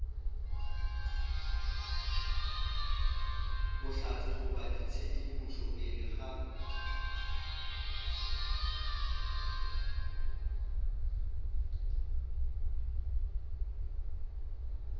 bohlatse goba tshedimošo pele ga